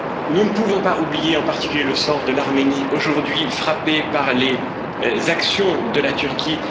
Nous ne pouvons pas oublier, en particulier, le sort de l'Arménie, aujourd'hui frappée par les actions de la Turquie.